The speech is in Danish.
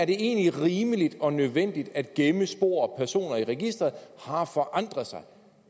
egentlig er rimeligt og nødvendigt at gemme spor og personer i registeret har forandret sig